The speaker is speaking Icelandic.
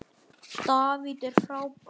David er frábær.